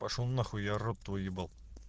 пошёл нахуй я рот твой ебал